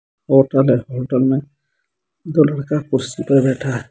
Hotel है hotel मे दो लड़का कुर्सी पर बैठा है।